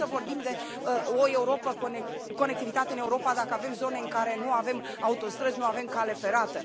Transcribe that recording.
Cum să vorbim de conectivitate în Europa dacă avem zone în care nu avem autostrăzi, nu avem cale ferată?